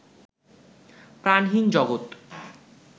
প্রাণহীন জগত